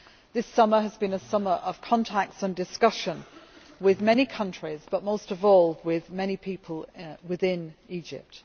This summer has been a summer of contacts and discussion, with many countries but most of all with many people within Egypt.